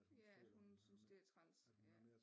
Ja at hun synes det er træls ja